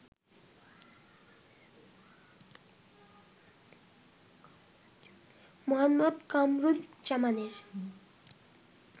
Muhammad কামারুজ্জামানের